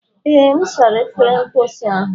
Ee, M sara efere mposi ahụ.